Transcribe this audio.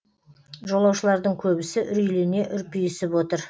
жолаушылардың көбісі үрейлене үрпиісіп отыр